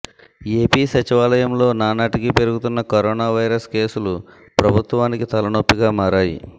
AP సచివాలయంలో నానాటికీ పెరుగుతున్న కరోనా వైరస్ కేసులు ప్రభుత్వానికి తలనొప్పిగా మారాయి